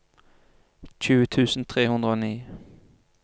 tjue tusen tre hundre og ni